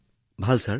বৰ ভাল মহোদয়